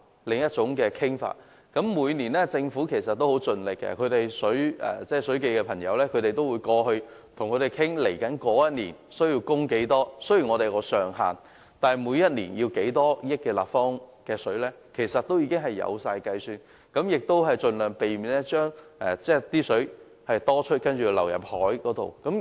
其實，政府每年也很盡力，水務署的同事是會前往與對方討論接下來一年需要多少供水，雖然當中是設有上限，但每年需要多少億立方米的食水，其實也是有計算的，亦會盡量避免因食水過多而要倒入大海。